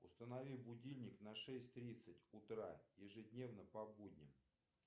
установи будильник на шесть тридцать утра ежедневно по будням